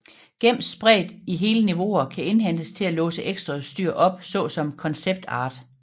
Gems spredt i hele niveauer kan indhentes til at låse ekstraudstyr op såsom concept art